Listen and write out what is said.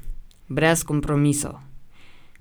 Brez kompromisov.